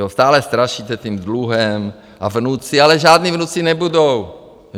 Jo, stále strašíte tím dluhem a vnuci, ale žádní vnuci nebudou.